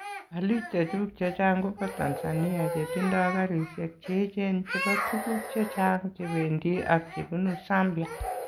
Aliik chechuk chechang kobo Tanzania chetindo karisiek cheechen chebo tukuuk chechang chebendi ak chebunu Zambia